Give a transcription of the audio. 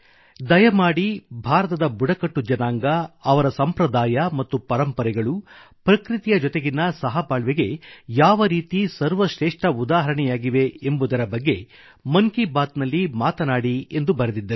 ದಯಮಾಡಿ ಭಾರತದ ಬುಡಕಟ್ಟು ಜನಾಂಗ ಅವರ ಸಂಪ್ರದಾಯ ಮತ್ತು ಪರಂಪರೆಗಳು ಪ್ರಕೃತಿಯ ಜೊತೆಗಿನ ಸಹಬಾಳ್ವೆಗೆ ಯಾವರೀತಿ ಸರ್ವಶ್ರೇಷ್ಠ ಉದಾಹರಣೆಯಾಗಿವೆ ಎಂಬುದರ ಬಗ್ಗೆ ಮನ್ ಕಿ ಬಾತ್ ನಲ್ಲಿ ಮಾತನಾಡಿ ಎಂದು ಬರೆದಿದ್ದರು